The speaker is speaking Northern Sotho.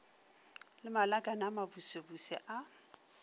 le malakane a mabusebuse a